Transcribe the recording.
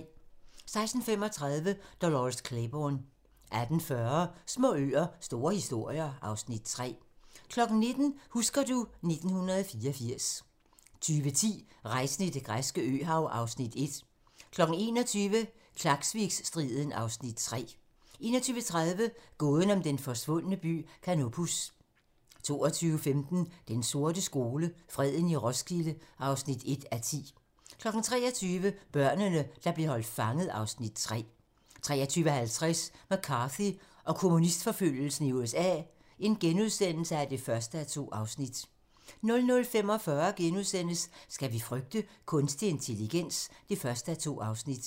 16:35: Dolores Claiborne 18:40: Små øer - store historier (Afs. 3) 19:10: Husker du ... 1984 20:10: Rejsen i det græske øhav (Afs. 1) 21:00: Klaksvikstriden (Afs. 3) 21:30: Gåden om den forsvundne by Canopus 22:15: Den sorte skole: Freden i Roskilde (1:10) 23:00: Børnene, der blev holdt fanget (Afs. 3) 23:50: McCarthy og kommunistforfølgelsen i USA (1:2)* 00:45: Skal vi frygte kunstig intelligens? (1:2)*